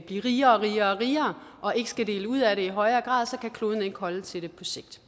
blive rigere og rigere og ikke skal dele ud af det i højere grad kan kloden ikke holde til det på sigt